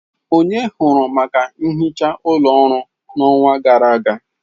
Onye hụru maka nhicha ụlọ ọrụ n'ọnwa gara aga?